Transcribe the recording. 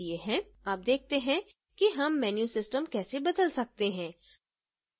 अब देखते हैं कि हम menu system कैसे बदल सकते हैं